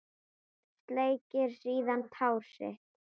Sleikir síðan tár sitt.